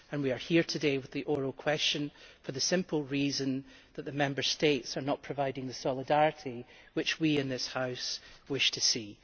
We are here today with the oral question for the simple reason that the Member States are not providing the solidarity which we in this House wish to see.